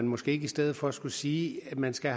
måske ikke i stedet for skulle sige at man skal